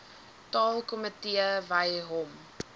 taalkomitee wy hom